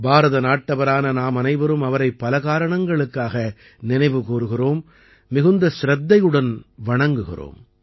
பாரதநாட்டவரான நாமனைவரும் அவரை பல காரணங்களுக்காக நினைவு கூர்கிறோம் மிகுந்த சிரத்தையுடன் வணங்குகிறோம்